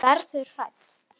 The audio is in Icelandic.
Verður hrædd.